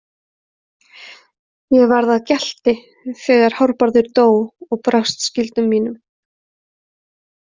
Ég varð að gjalti þegar Hárbarður dó og brást skyldum mínum.